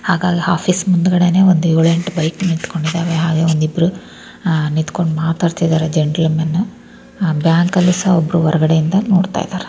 ಹಾಗಾಗಿ ಆಫೀಸ್ ಮುಂಡಗಡೇನೇ ಏಳೆಂಟು ಬೈಕ್ ನಿಂತಕೊಂಡಿದವೇ ಹಾಗೆ ಒಂದಿಬ್ಬರು ನಿಂತಕೊಂಡು ಮಾತಾಡ್ತಿದಾರೆ ಜಂಟಲ್ಮ್ಯಾನ್ ಆ ಬ್ಯಾಂಕ್ನಲ್ ಸಹ ಒಬ್ಬರು ಹೊರಗಡೆ ಇಂದ ನೋಡತಾ ಇದಾರೆ.